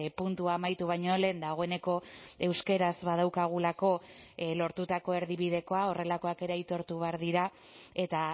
puntua amaitu baino lehen dagoeneko euskaraz badaukagulako lortutako erdibidekoa horrelakoak ere aitortu behar dira eta